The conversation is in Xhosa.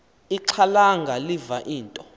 ixhalanga liva into